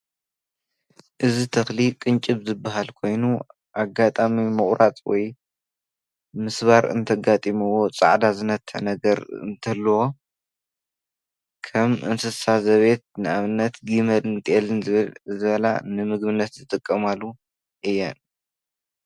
እዚ ተኽሊ ቅንጭብ ዝበሃል ኾይኑ ኣጋጣሚ ምቁራፅ ወይ ምስባር እንተጋጢምዎ ፃዕዳ ዝነትዕ ነገር እንትህልዎ ከም እንስሳ ዘቤት ።ንኣብነት ከምኒ ጤል፣ ጊመል ዝበላ ንምግብነት ዝጥቀማሉ እየን።